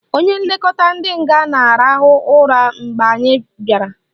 Onye nlekọta ndị nga na-arahụ ụra mgbe anyị bịara